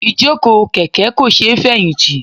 Ìjókòó kèké kò sé feyinti.